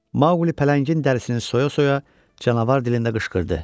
Mauqli pələngin dərisini soya-soya canavar dilində qışqırdı.